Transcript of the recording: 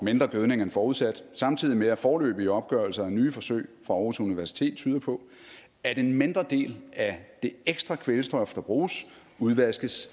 mindre gødning end forudsat samtidig med at foreløbige opgørelser af nye forsøg fra aarhus universitet tyder på at en mindre del af det ekstra kvælstof der bruges udvaskes